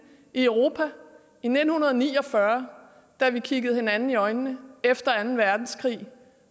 i europa i nitten ni og fyrre da vi kiggede hinanden i øjnene efter anden verdenskrig